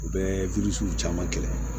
U bɛ caman kɛ